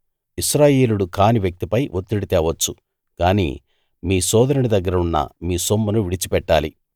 ఇశ్రాయేలీయుడు కాని వ్యక్తి పై ఒత్తిడి తేవచ్చు గాని మీ సోదరుని దగ్గర ఉన్న మీ సొమ్మును విడిచిపెట్టాలి